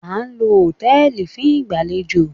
A ń lo hòtẹ́ẹ̀lì fún ìgbàlejò